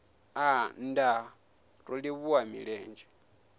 aa nndaa ro livhuwa milenzhe